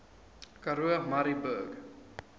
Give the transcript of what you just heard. karoo murrayburg